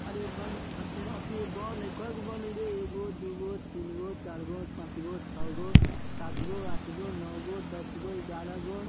अरे बन अ फिर अथी बॉल हई | कैगो बॉल हई रे एगो दुगो तीनगो चागो पाँचगो छैगो सातगो आठगो नौगो दसगो ग्यारहगो ।